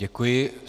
Děkuji.